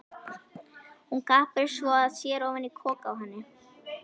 Hún gapir svo að sér ofan í kok á henni.